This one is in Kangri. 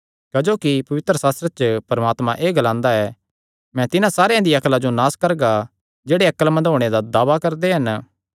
क्जोकि पवित्रशास्त्रे च परमात्मा एह़ ग्लांदा ऐ मैं तिन्हां सारेयां दियां अक्ला जो नास करगा जेह्ड़े अक्लमंद होणे दा दावा करदे हन